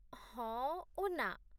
ହଁ ଓ ନା!